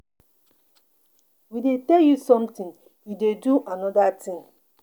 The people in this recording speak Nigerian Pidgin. We dey tell you something you dey do another thing.